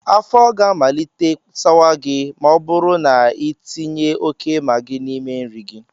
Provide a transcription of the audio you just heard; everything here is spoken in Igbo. Afọ ga amalite sawa gị ma ọ bụrụ na ị tinye óké Magị n'ime nri gị